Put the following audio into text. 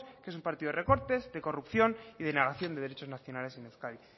que es un partido de recortes de corrupción y de negación de derechos nacionales en euskadi